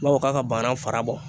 Bawɔ k'a ka bana fara bɔ